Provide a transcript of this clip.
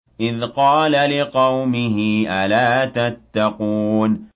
إِذْ قَالَ لِقَوْمِهِ أَلَا تَتَّقُونَ